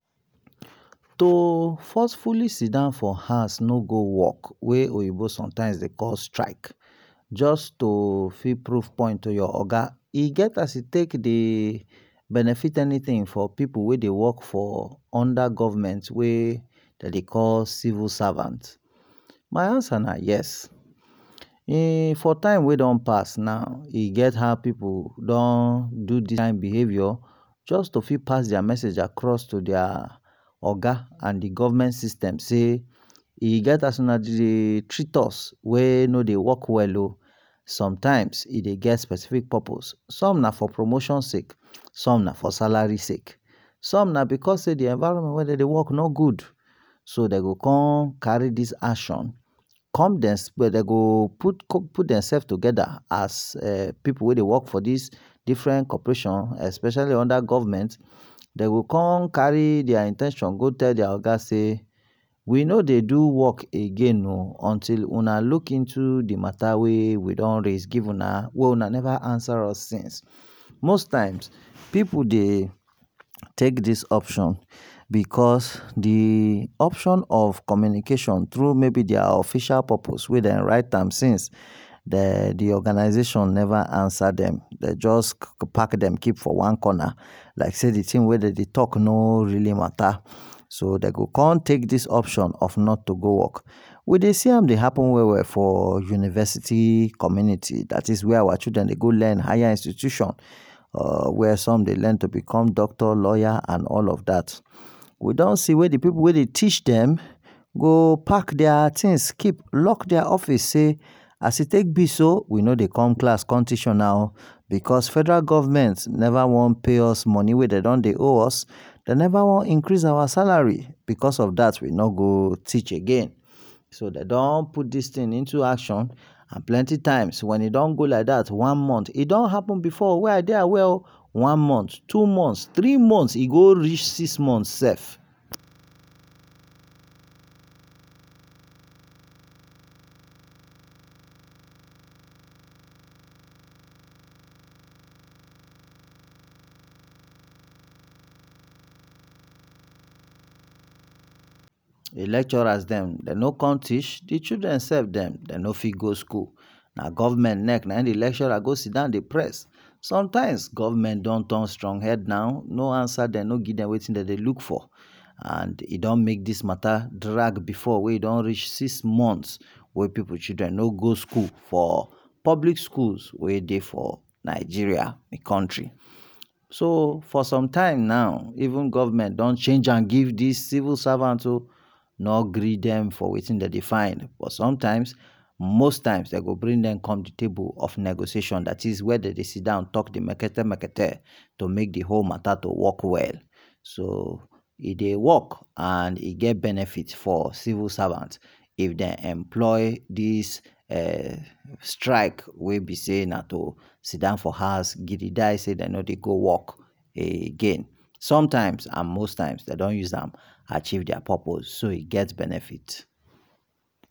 To forcefully sidon for house no go work wey oyinbo dey sometimes dey call strike, just to prove point to your oga, e get as e take dey benefit anything for pipu wey dey worlk under government, wey dem dey call civil servant? My answer na yes e get time wey pipu do dis kind behavior jus to pass message to dia oga and d government system sey e get as una dey treat us wey no dey work well oh, sometimes e dey get specific purpose, some na for promotion sake some ns for salary sake, some na because d environment wey dem dey work no good, so dem go con carry dis action, con dey explain, dem go put dem self togeda as pipu wey dey work under different corporation, especially under government, dem go con carry dia in ten tion go give dia oga sey we no go do work o until una look into d matter wey we don raise give una wey una neva answer us since, most times pipu dey take dis option because d option of communication mayb tru dia official purpose wey dem write am since, dem neva answer dem, dey jus pack dem keep for one corner, like sey d thing wey dey talk no really matter, so dey go con take dis option not to go work, we dey see am dey happen well well for university community dat is where our children dey go learn dat is higher institution, where some dey llearn to become doctor lawyer and all of dat, we don see wey d pipu wey dey teach dem, go pack dia things lock dia office sey as e take b so we no dey come class con teach una o because federal government neva wan pay us money wey dem don dy owe us, dem neva wan increase our salary because of dat we no go teach again, so dem don put dis thing into action and plenty times wen e don happen one month, e don happen like dat before wey I dey aware o, one month two months e go reach six months sef. d lecturers dem no con teach, d children sef dem no fit go school na government leg d lecturers go sidon dey press, sometimes, government don turn strong head na, no answer dem, no give dem wetin dem dey look for, and e don make dis matter drag before, wey e don reach six months we pipu children no go school for public schools we dey for Nigeria, me country, so for sometime now even government don change am give civil servant oh, e no give dem wetin dem dey find but sometimes, most times dem go bring dem come d table of negotiation wey dey sidon dat is where dey go talk d marketamakete to make d whole matter work well, so e dey work and e get benefit for civil servant if dem employ dis um strike wey b sey na to sitdown for house, gidi die sey dem no dey go work again, sometimes and most times dem don use am achieve dia purpose, so e get benefit.